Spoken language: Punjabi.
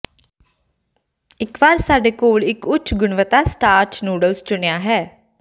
ਇੱਕ ਵਾਰ ਸਾਡੇ ਕੋਲ ਇੱਕ ਉੱਚ ਗੁਣਵੱਤਾ ਸਟਾਰਚ ਨੂਡਲਜ਼ ਚੁਣਿਆ ਹੈ